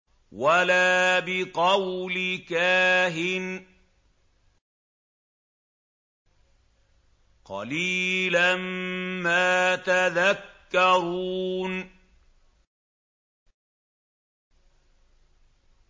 وَلَا بِقَوْلِ كَاهِنٍ ۚ قَلِيلًا مَّا تَذَكَّرُونَ